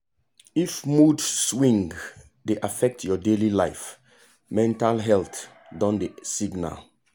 if mood swing dey affect your daily life mental health don dey signal.